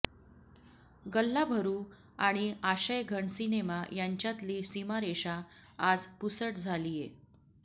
गल्लाभरू आणि आशयघन सिनेमा यांच्यातली सीमारेषा आज पुसट झालीय